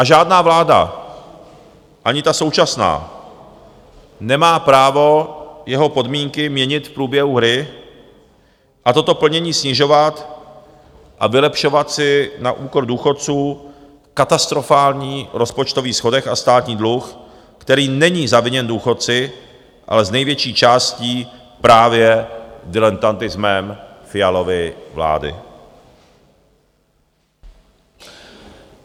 A žádná vláda, ani ta současná, nemá právo jeho podmínky měnit v průběhu hry a toto plnění snižovat a vylepšovat si na úkor důchodců katastrofální rozpočtový schodek a státní dluh, který není zaviněn důchodci, ale z největší části právě diletantismem Fialovy vlády.